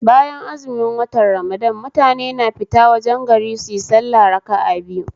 Bayan azumin watan ramadan mutane na fita wajen gari suyi sallah raka'a biyu